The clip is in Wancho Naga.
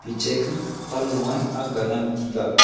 che kah pan low e agga ngan tega.